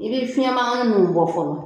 I bɛ fiɲɛ mankan ninnu bɔ fɔlɔ